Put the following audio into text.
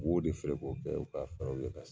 U b'o de feere ko kɛ u ka fɛrɛw ye ka segin